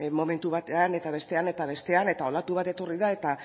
momentu batean eta bestean eta olatu bat etorri da eta